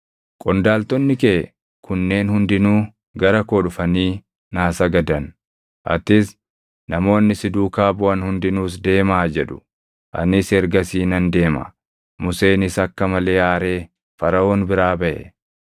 Qondaaltonni kee kunneen hundinuu gara koo dhufanii naa sagadan; ‘Atis, namoonni si duukaa buʼan hundinuus deemaa!’ jedhu; anis ergasii nan deema.” Museenis akka malee aaree Faraʼoon biraa baʼe.